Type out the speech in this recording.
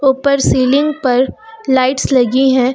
ऊपर सीलिंग पर लाइट्स लगी हैं।